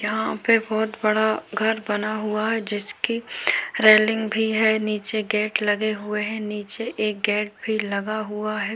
यहाँ पे बहुत बड़ा घर बना हुआ है जिसकी रेलिंग भी है नीचे गेट लगे हुए है नीचे एक गेट भी लगा हुआ है।